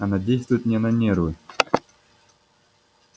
она действует мне на нервы